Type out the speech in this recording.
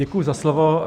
Děkuji za slovo.